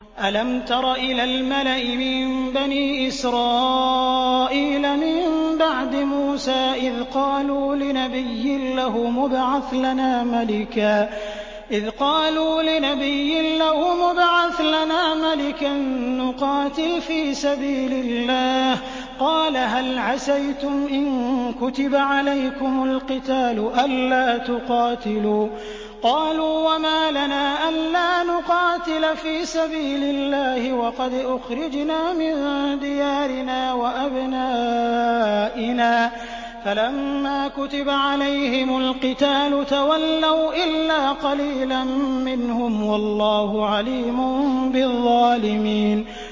أَلَمْ تَرَ إِلَى الْمَلَإِ مِن بَنِي إِسْرَائِيلَ مِن بَعْدِ مُوسَىٰ إِذْ قَالُوا لِنَبِيٍّ لَّهُمُ ابْعَثْ لَنَا مَلِكًا نُّقَاتِلْ فِي سَبِيلِ اللَّهِ ۖ قَالَ هَلْ عَسَيْتُمْ إِن كُتِبَ عَلَيْكُمُ الْقِتَالُ أَلَّا تُقَاتِلُوا ۖ قَالُوا وَمَا لَنَا أَلَّا نُقَاتِلَ فِي سَبِيلِ اللَّهِ وَقَدْ أُخْرِجْنَا مِن دِيَارِنَا وَأَبْنَائِنَا ۖ فَلَمَّا كُتِبَ عَلَيْهِمُ الْقِتَالُ تَوَلَّوْا إِلَّا قَلِيلًا مِّنْهُمْ ۗ وَاللَّهُ عَلِيمٌ بِالظَّالِمِينَ